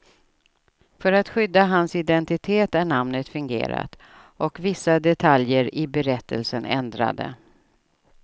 För att skydda hans identitet är namnet fingerat och vissa detaljer i berättelsen ändrade.